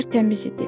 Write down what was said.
Tərtəmiz idi.